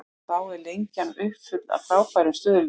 Þá er Lengjan uppfull af frábærum stuðlum.